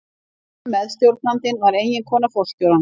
Hinn meðstjórnandinn var eiginkona forstjórans.